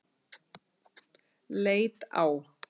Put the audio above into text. Leit á